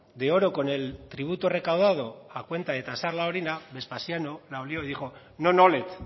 de oro con el tributo recaudado a cuenta de tasar la orina vespasiano la olió y dijo non olet